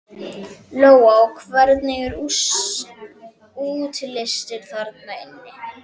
Lóa: Og hvernig er útlits þarna inni?